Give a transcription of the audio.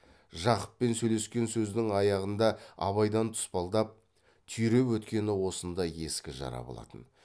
жақыппен сөйлескен сөздің аяғында абайдың тұспалдап түйреп өткені осындай ескі жара болатын